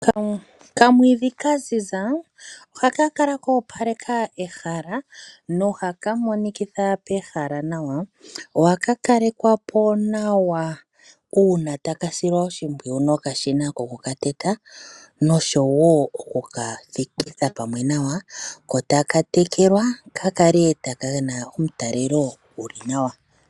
Okamwiidhi kaziza ohaka kala ko opaleka ehala no haka monikitha pehala nawa . Ohaka kalekwapo nawa uuna taka silwa oshimpwiyu nokashina ko ku kateta noshowo okukathikitha pamwe nawa ko taka tekelwa ka kale taka nana omutalelo guli nawa.